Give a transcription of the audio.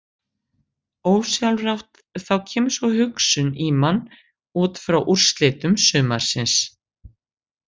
Ósjálfrátt þá kemur sú hugsun í mann útfrá úrslitum sumarsins.